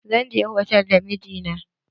Zan je hotal da mijina.